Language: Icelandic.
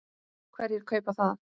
Hverjir kaupa það?